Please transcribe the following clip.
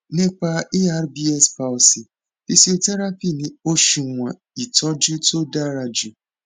nípa erbs palsy fíṣíọtẹrápì ni oṣuwọn ìtọjú tó dára jù